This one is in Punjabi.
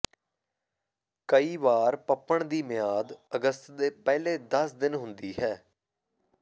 ਕਈ ਵਾਰ ਪਪਣ ਦੀ ਮਿਆਦ ਅਗਸਤ ਦੇ ਪਹਿਲੇ ਦਸ ਦਿਨ ਹੁੰਦੀ ਹੈ